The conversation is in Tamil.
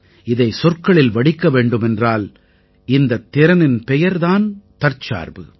இதைச் சொற்களில் வடிக்க வேண்டுமென்றால் இந்தத் திறனின் பெயர் தான் தற்சார்பு